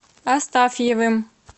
астафьевым